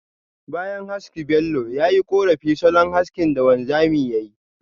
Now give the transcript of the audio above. Bayan haski Bello, ya yi korafi salon haski da wanzamin yayi.